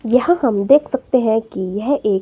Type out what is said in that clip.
यहां हम देख सकते हैं कि यह एक--